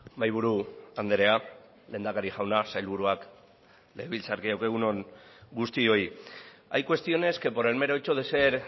mahaiburu andrea lehendakari jauna sailburuak legebiltzarkideok egun on guztioi hay cuestiones que por el mero hecho de ser